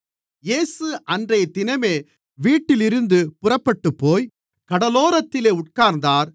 இயேசு அன்றைய தினமே வீட்டிலிருந்து புறப்பட்டுப்போய் கடலோரத்திலே உட்கார்ந்தார்